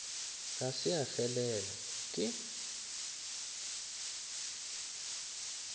ga se ya felela e